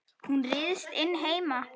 Hún ryðst inn heima.